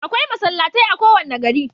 Akwai masallatai a kowane gari.